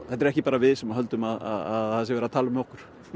þetta eru ekki bara við sem höldum að það sé verið að tala um okkur